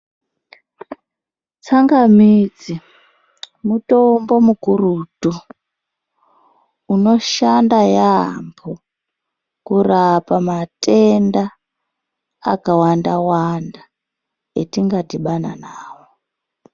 Tsangamidzi mutombo mukurutu unoshanda yambo kurapa matenda akawanda wanda atinga dhibana nawo .